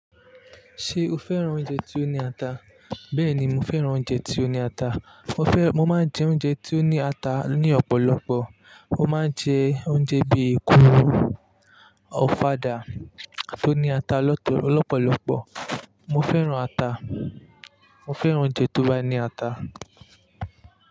Ṣé o féràn oúnjẹ tí ó ní ata? Bẹ́ẹ̀ni, mo féràn oúnjẹ tí ó ní ata. Mo fẹ́-- mo máa ń jẹ oúnjẹ tí ó ní ata ní ọ̀pọ̀lọpọ̀. Mo máa ń jẹ oúnjẹ bíi èkuru, ọ̀fadà tó ní ata lọ̀tọ̀-- lọ́pọ̀lọpọ̀. Mo féràn ata. Mo féràn oúnjẹ tó bá ní ata.